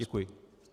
Děkuji.